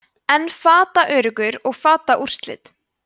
en fataöruggur og fataúrslit